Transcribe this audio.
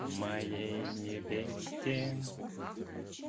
моей невесте